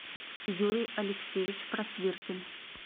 юрий алексеевич просвиркин